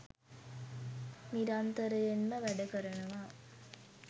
නිරන්තරයෙන්ම වැඩකරනවා